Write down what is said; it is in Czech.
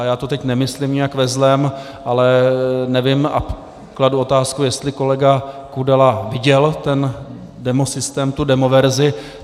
A já to teď nemyslím nějak ve zlém, ale nevím a kladu otázku, jestli kolega Kudela viděl ten demosystém, tu demoverzi.